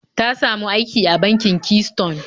Ta samu aiki a bankin Keystone